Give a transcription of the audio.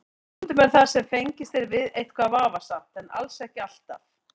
Stundum er það sem fengist er við eitthvað vafasamt en alls ekki alltaf.